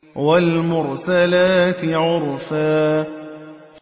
وَالْمُرْسَلَاتِ عُرْفًا